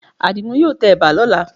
Àdìgún yóò tẹ ẹ̀bà lọ́la